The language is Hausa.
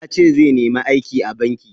Yace zai nemi aiki a banki.